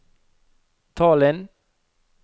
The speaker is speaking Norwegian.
Tallinn